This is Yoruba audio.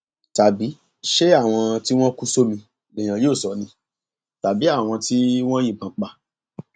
tàbí ṣé àwọn tí wọn kú sómi lèèyàn yóò sọ ni tàbí tí àwọn tí wọn yìnbọn pa